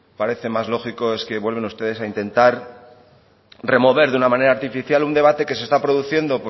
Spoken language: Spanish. parece más lógico es que vuelven ustedes a intentar remover de una manera artificial un debate que se está produciendo